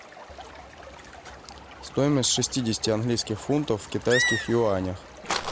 стоимость шестидесяти английских фунтов в китайских юанях